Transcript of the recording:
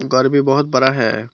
घर भी बहुत बड़ा है।